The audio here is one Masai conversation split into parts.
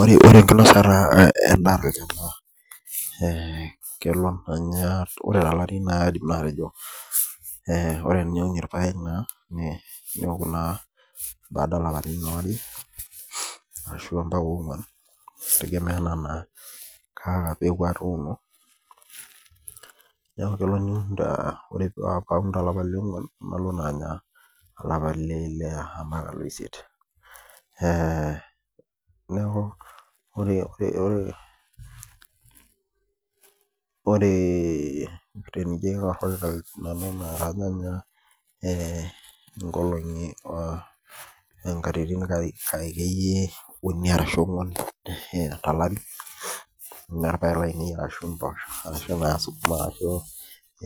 Ore enkinosata endaa kelo ore tolari na ore teniun irpaek neoku baada olapaitin okuni ambana onguan kitegemea anaa kaa peku atuuno kelo niun tolapa leonguan nalo anya tolapa leile ashi olapa leaisiet ee neaku ore ore enijobaingur naa ore nanu na kajo ayaa nkatitin uni ashu onguan tolari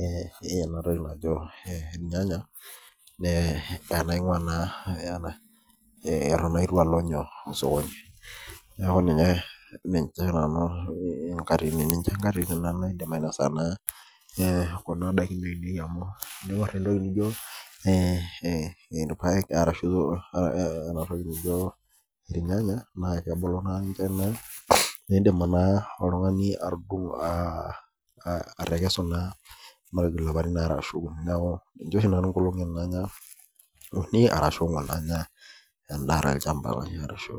ee enatoki najo irnyanya atan itu alo osokoni neaku ninye nanu nkaititin naidim ainasa kuna dakin amu teniun entoki naijo irpaek ashu irnyanya na kebulu ninche nidim naa oltungani atekesu tolapatieni are ashu uni ninche oshi nanu anya uni arashu onguan endaa tolchamba lai arashu.